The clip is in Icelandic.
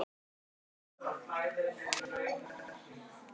Einsog ein.